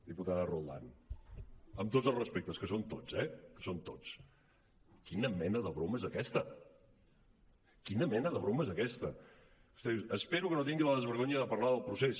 diputada roldán amb tots els respectes que són tots eh que són tots quina mena de broma és aquesta quina mena de broma és aquesta vostè diu espero que no tingui el desvergonyiment de parlar del procés